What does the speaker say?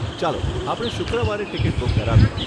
ચાલો આપણે શુક્રવારે ટીકીટ બુક કરાવીએ.